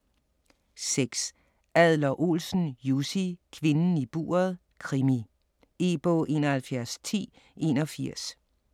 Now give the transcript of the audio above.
6. Adler-Olsen, Jussi: Kvinden i buret: krimi E-bog 711081